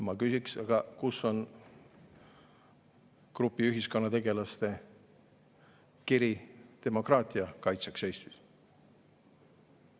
Ma küsiksin, aga kus on grupi ühiskonnategelaste kiri demokraatia kaitseks Eestis.